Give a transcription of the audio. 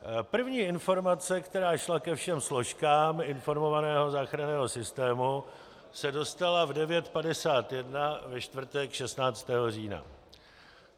První informace, která šla ke všem složkám integrovaného záchranného systému, se dostala v 9.51 ve čtvrtek 16. října.